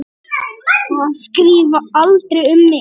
Að skrifa aldrei um mig.